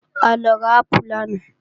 A lọ ra ápù lánàá